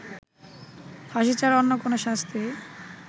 ফাঁসি ছাড়া অন্য কোনও শাস্তিই